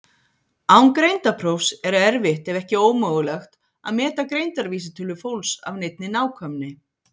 Án greindarprófs er erfitt ef ekki ómögulegt að meta greindarvísitölu fólks af neinni nákvæmni.